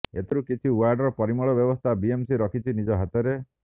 ଏଥିରୁ କିଛି ୱାର୍ଡର ପରିମଳ ବ୍ୟବସ୍ଥା ବିଏମ୍ସି ରଖିଛି ନିଜ ହାତରେ